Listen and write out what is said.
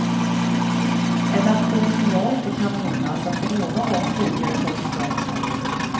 En nation som jag inte kan minnas att vi någon gång tidigare tagit poäng mot.